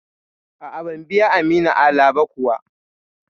A'a, ban biya Aminu Ala ba kuwa.